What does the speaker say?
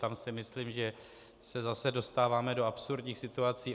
Tam si myslím, že se zase dostáváme do absurdních situací.